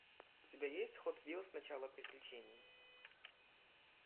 у тебя есть хот вилс начало приключений